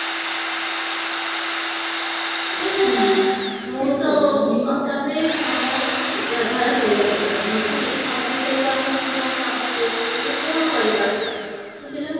ଦେଖା ଯାଉ ମୁଁ ତ ଆଉ ତାପରେ ସମୟକୁ ବ୍ୟବହାର କରିବା ଦରକାର ନହେଲେ ସମୟ ସହିତ ଆମେ ପୁରା କାମ ବ୍ୟସ୍ତ ମାନେ କଣ କରିବା ବୁଝିଲା